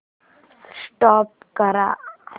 stop करा